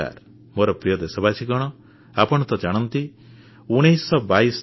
ମୋର ପ୍ରିୟ ଦେଶବାସୀ ଆପଣ ତ ଜାଣନ୍ତି 1922 ନମ୍ବର